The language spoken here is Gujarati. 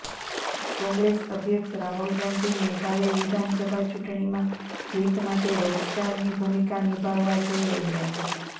કોંગ્રેસ અધ્યક્ષ રાહુલ ગાંધી મેઘાલય વિધાનસભા ચૂંટણીમાં જીત માટે રોકસ્ટારની ભૂમિકા નિભાવવા જઈ રહ્યા છે